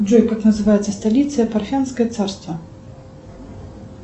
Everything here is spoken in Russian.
джой как называется столица парфянское царство